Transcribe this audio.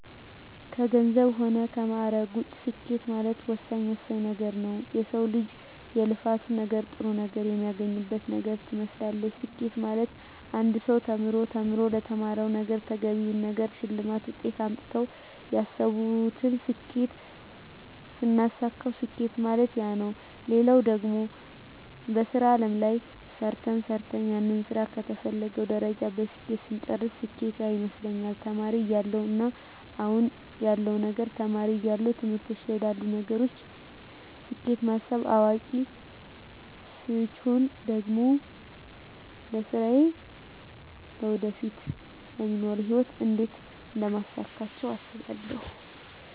ከገንዘብ ሆነ ከማእረግ ውጭ ስኬት ማለት ወሳኝ ወሳኝ ነገረ ነዉ የሰው ልጅ የልፋት ነገር ጥሩ ነገር የሚያገኝበት ነገር ትመስላለች ስኬት ማለት አንድ ሰው ተምሮ ተምሮ ለተማረዉ ነገረ ተገቢውን ነገር ሸልማት ውጤት አምጥተው ያሰብቱን ስኬት ስናሳካዉ ስኬት ማለት ያነ ነዉ ሌላው ደግሞ በሥራ አለም ላይ ሰርተ ሰርተን ያንን ስራ ከተፈለገዉ ደረጃ በስኬት ስንጨርስ ስኬት ያነ ይመስለኛል ተማሪ እያለው እና አሁን ያለዉ ነገር ተማሪ እያለው ትምህርቶች ላይ ላሉ ነገሮች ስኬት ማስብ አዋቂ ስቾን ደግሞ ለስራየ ለወደፊቱ ለሚኖሩ ህይወት እንዴት አደምታሳካቸው አስባለሁ